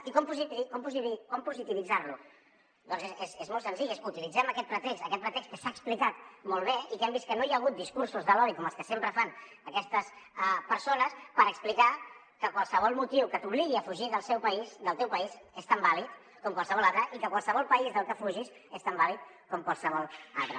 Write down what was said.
i com positivitzar lo doncs és molt senzill utilitzem aquest pretext aquest pretext que s’ha explicat molt bé i que hem vist que no hi ha hagut discursos de l’odi com els que sempre fan aquestes persones per explicar que qualsevol motiu que t’obligui a fugir del seu país del teu país és tan vàlid com qualsevol altre i que qualsevol país del que fugis és tan vàlid com qualsevol altre